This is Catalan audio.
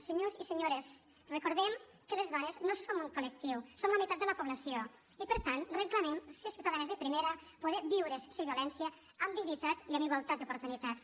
senyors i senyores recordem que les dones no som un col·lectiu som la meitat de la població i per tant reclamem ser ciutadanes de primera poder viure sense violència amb dignitat i amb igualtat d’oportunitats